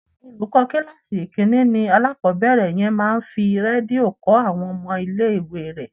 Olùkọ́ kíláàsì ìkínní ni alákòbẹ̀rẹ̀ yẹn máa ń fi Rédíò kọ́ àwọn ọmọ ilé ìwé rẹ̀.